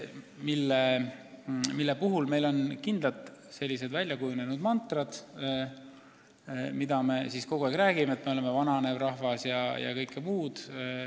Meile on hästi teada väljakujunenud mantrad, mida me kogu aeg kordame: me oleme vananev rahvas ja nii edasi.